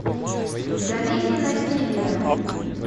в долине насилия